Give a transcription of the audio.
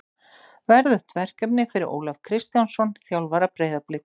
Verðugt verkefni fyrir Ólaf Kristjánsson, þjálfara Breiðabliks.